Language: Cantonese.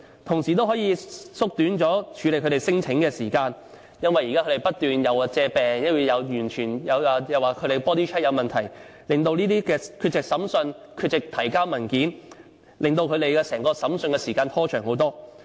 同時也可以縮短處理他們聲請的時間，因為現在他們不斷以種種理由，例如生病、body check 發現問題等作為借口，而缺席聆訊或推遲提交文件，令整個審訊拖延很長時間。